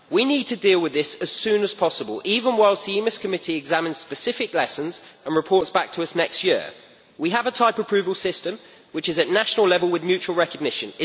We need to deal with this as soon as possible, even while the EMIS Committee is examining specific lessons with a view to reporting back to us next year. We have a type approval system at national level with mutual recognition.